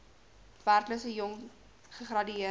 werklose jong gegradueerdes